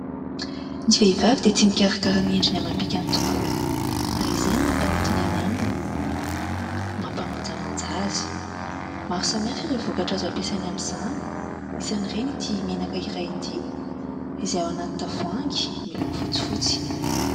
Ny vehivavy dia tia mikarakara ny endriny amam-bikany tokoa ary izay no mampanintona eny aminy, mampamanjamanja azy. Maro samihafa ireo vokatra azo ampiasaina amin'izany, isan'ireny itỳ menaka iray itỳ, izay ao anaty tavoahangy miloko fotsifotsy.